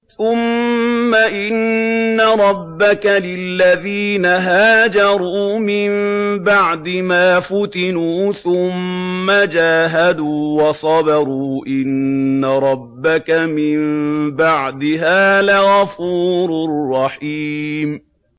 ثُمَّ إِنَّ رَبَّكَ لِلَّذِينَ هَاجَرُوا مِن بَعْدِ مَا فُتِنُوا ثُمَّ جَاهَدُوا وَصَبَرُوا إِنَّ رَبَّكَ مِن بَعْدِهَا لَغَفُورٌ رَّحِيمٌ